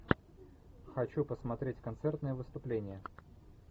хочу посмотреть концертное выступление